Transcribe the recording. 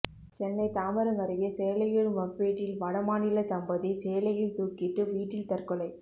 சென்னை தாம்பரம் அருகே சேலையூர் மப்பேட்டில் வடமாநில தம்பதி சேலையில் தூக்கிட்டு வீட்டில் தற்கொலை